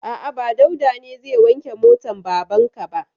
A'a, ba Dauda ba ne zai wanke motan baban ka ba.